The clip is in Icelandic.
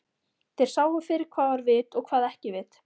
Þeir sáu fyrir hvað var vit og hvað ekki vit.